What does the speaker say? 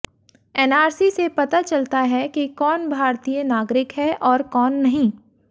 NRC से पता चलता है कि कौन भारतीय नागरिक है और कौन नहीं